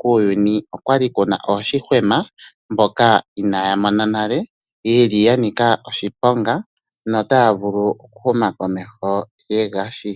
kuuyuni okwali ku na ooshihwema mboka ina ya mona nale yeli ya nika oshiponga nota ya vulu okuhuma komeho ye gashi.